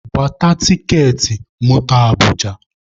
Gbata tiketi moto Abụja!